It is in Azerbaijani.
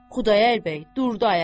Xudayar bəy durdu ayağa.